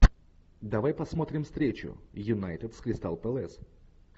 давай посмотрим встречу юнайтед с кристал пэлас